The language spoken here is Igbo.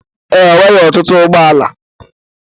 Ee, o nwere ọtụtụ ụgbọala